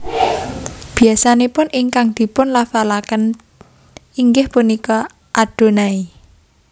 Biasanipun ingkang dipunlafalaken inggih punika Adonai